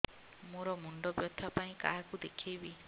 ମୋର ମୁଣ୍ଡ ବ୍ୟଥା ପାଇଁ କାହାକୁ ଦେଖେଇବି